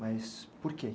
Mas por quê?